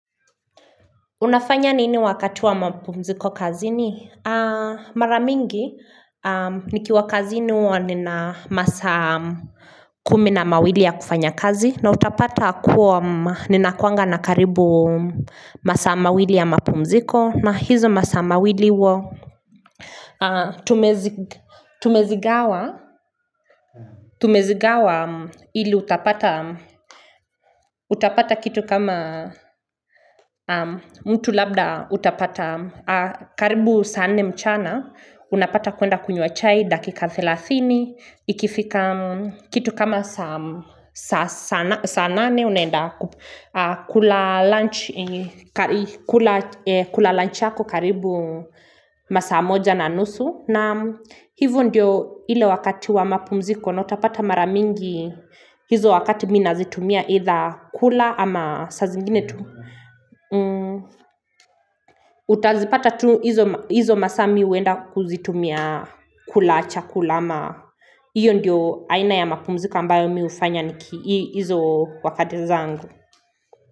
Unafanya nini wakati wa mapumziko kazini maramingi nikiwa kazini huwa nina masaa kumi na mawili ya kufanya kazi na utapata kuwa ninakuanga na karibu masaa mawili ya mapumziko na hizo masaa mawili huwa Tumezigawa ili utapata kitu kama mtu labda utapata karibu saa nne mchana Unapata kuenda kunywa chai dakika thelathini Ikifika kitu kama saa nane unaenda kula lunch yako karibu masaa moja na nusu na hivyo ndiyo ile wakati wa mapumziko na utapata maramingi hizo wakati mimi nazitumia either kula ama saa zingine tu. Utazipata tu hizo masaa mimi huenda kuzitumia kula, chakula ama hiyo ndiyo aina ya mapumziko ambayo mimi hufanya niki hizo wakati zangu.